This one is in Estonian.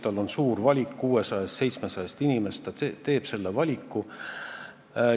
Tal on suur valik, 600 või 700 inimese seast ta teeb oma valiku.